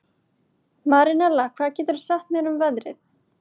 Marinella, hvað geturðu sagt mér um veðrið?